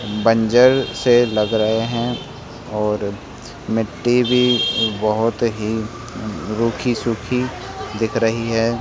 बंजर से लग रहे हैं और मिट्टी भी बोहोत ही रूखी सूखी दिख रही है।